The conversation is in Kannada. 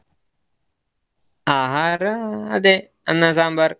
ಆಹಾರ ಅದೇ ಅನ್ನ ಸಾಂಬಾರ್.